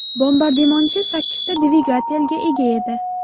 Bombardimonchi sakkizta dvigatelga ega edi.